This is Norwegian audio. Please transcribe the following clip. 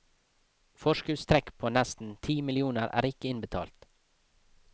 Forskuddstrekk på nesten ti millioner er ikke innbetalt.